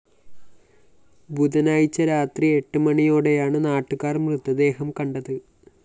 ബുധനാഴ്ച രാത്രി എട്ട് മണിയോടെയാണ് നാട്ടുകാര്‍ മൃതദേഹം കണ്ടത്